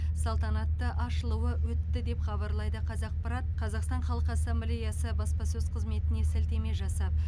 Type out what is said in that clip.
салтанатты ашылуы өтті деп хабарлайды қазақпарат қазақстан халық ассамблеясы баспасөз қызметіне сілтеме жасап